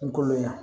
N koloya